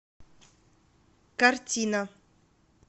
картина